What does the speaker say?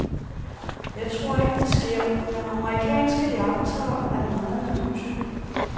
Jeg tror ikke, det sker, men amerikanske iagttagere er meget nervøse.